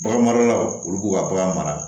Bagan maralaw olu b'u ka bagan mara